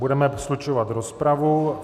Budeme slučovat rozpravu.